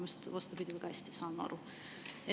Just vastupidi, väga hästi saame aru.